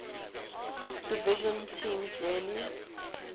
division teams rarely